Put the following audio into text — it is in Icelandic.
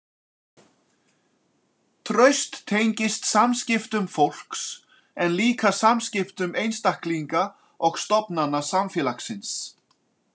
Traust tengist samskiptum fólks en líka samskiptum einstaklinga og stofnana samfélagsins.